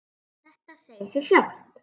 Þetta segir sig sjálft.